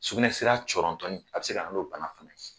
Sugunɛsira cɔrɔntɔnin, a bi se ka nana n'o bana fɛnɛ ye.